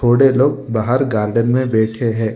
बूढ़े लोग बाहर गार्डन में बैठे हैं।